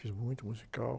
Fiz muito musical.